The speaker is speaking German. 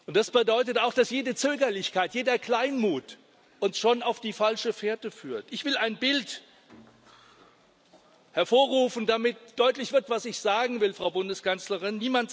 Das bedeutet auch, dass jede Zögerlichkeit, jeder Kleinmut uns schon auf die falsche Fährte führt. Ich will ein Bild hervorrufen, damit deutlich wird, was ich sagen will, Frau Bundeskanzlerin